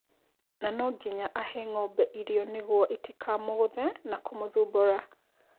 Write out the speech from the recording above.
Na no nginya ahe ng'ombe Irio nĩguo itikamũgũthe na kũmũthumbũra.